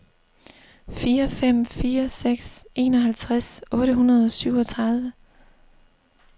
fire fem fire seks enoghalvtreds otte hundrede og syvogtredive